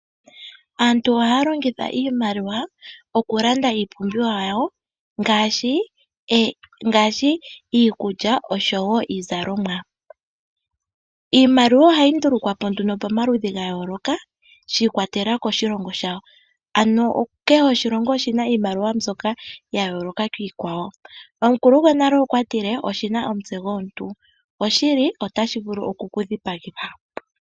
Aantu ohaya longitha iimaliwa okulanda iipumbiwa yawo, ngaashi iikulya oshowo iizalomwa. Iimaliwa ohayi ndulukwa po nduno komaludhi ga yooloka shi ikwatelela koshilongo shawo. Ano kehe oshilongo oshina iimaliwa yasho mbyoka ya yooloka kiikwawo. Omukulu gonale okwa tile oshina omutse gomuntu, oshili otashi vulu okukudhipagitha.